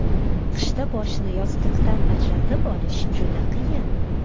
Qishda boshni yostiqdan ajratib olish juda qiyin.